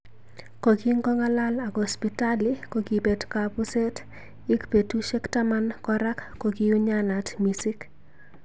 Kokikongalal ak Hospitali kokibet kabuzet ik betushek taman koran kokiunyanat misik.